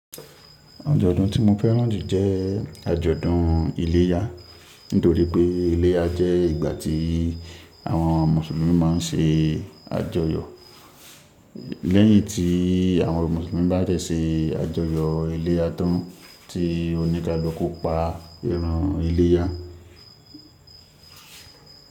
Àjọ̀dún tí mo fẹ́ràn jù jẹ́ àjọ̀dún iléyà. Nítorí pé iléyà jẹ́ ìgbà tí àwọn Mùsùlùmí máa ń ṣe àjọyọ̀. Lẹ́yìn tí àwọn Mùsùlùmí bá dẹ̀ ṣe àjọyọ̀ iléyà tán, tí oníkaluku pa ẹran iléyà.